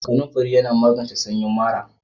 Kanamfari yana magance sanyin mara.